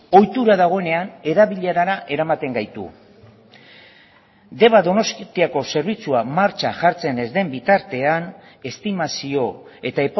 ohitura dagoenean erabilerara eramaten gaitu deba donostiako zerbitzua martxan jartzen ez den bitartean estimazio eta